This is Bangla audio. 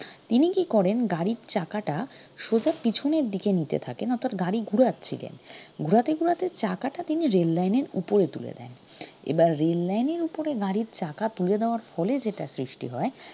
তিনি কি করেন গাড়ির চাকাটা সোজা পিছনের দিকে নিতে থাকেন অর্থাৎ গাড়ি ঘুরাচ্ছিলেন ঘুরাতে ঘুরাতে চাকাটা তিনি rail line এর উপরে তুলে দেন এবার rail line এর উপরে গাড়ির চাকা তুলে দেওয়ার ফলে যেটা সৃষ্টি হয়